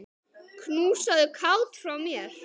Knúsaðu Kát frá mér.